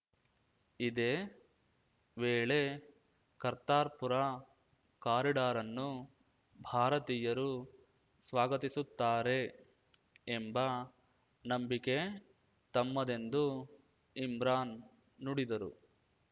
ಇದೇ ವೇಳೆ ಕರ್ತಾರ್‌ಪುರ ಕಾರಿಡಾರನ್ನು ಭಾರತೀಯರು ಸ್ವಾಗತಿಸುತ್ತಾರೆ ಎಂಬ ನಂಬಿಕೆ ತಮ್ಮದೆಂದು ಇಮ್ರಾನ್‌ ನುಡಿದರು